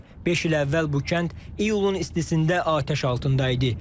Beş il əvvəl bu kənd iyulun istisində atəş altında idi.